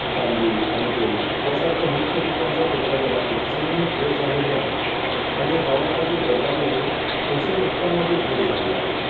तांदूळ आणि गहू या सारख्या मुख्य पिकांच्या उत्पादनात लक्षणीय घट झालेली आहे आणि हवामानातील बदलामुळे पोषक घटकांमध्ये घट झाली आहे